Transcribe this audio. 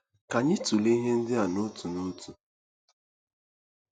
Ka anyị tụlee ihe ndị a a n'otu n'otu.